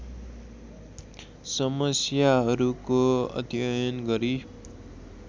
समस्याहरूको अध्ययन गरी